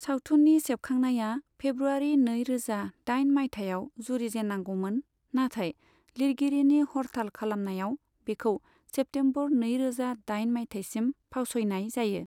सावथुननि सेबखांनाया फेब्रुवारि नैरोजा दाइन मायथाइयाव जुरिजेननांगौमोन, नाथाय लिरगिरिनि हरथाल खालामनायाव बेखौ सेप्टेमबर नैरोजा दाइन मायथाइसिम फावस'यनाय जायो।